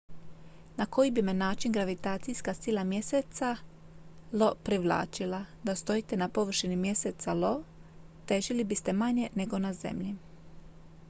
na koji bi me način gravitacijska sila mjeseca io privlačila da stojite na površini mjeseca io težili biste manje nego na zemlji